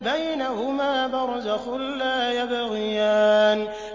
بَيْنَهُمَا بَرْزَخٌ لَّا يَبْغِيَانِ